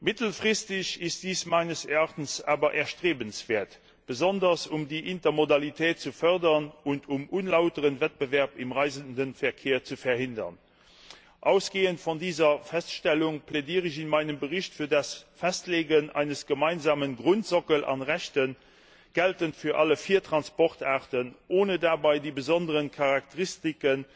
Mittelfristig ist dies meines Erachtens aber erstrebenswert, besonders um die Intermodalität zu fördern und um unlauteren Wettbewerb im Reiseverkehr zu verhindern. Ausgehend von dieser Feststellung plädiere ich in meinem Bericht für das Festlegen eines gemeinsamen Grundsockels an Rechten, geltend für alle vier Transportarten, ohne dabei die besonderen Charakteristika